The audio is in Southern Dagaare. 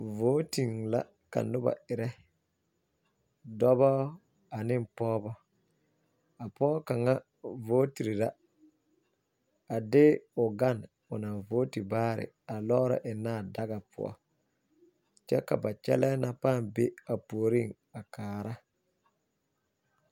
Vooten la ka noba erɛ, dɔbɔ ane pɔgba. A pɔge kaŋa vooti baarɛɛ la a de a vooti karetaa a eŋnɛ daga pʋɔ kyɛ ka a ba kyɛlii na are kaara